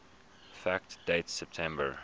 fact date september